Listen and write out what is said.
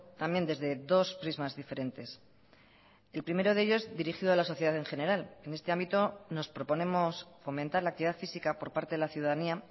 también desde dos prismas diferentes el primero de ellos dirigido a la sociedad en general en este ámbito nos proponemos fomentar la actividad física por parte de la ciudadanía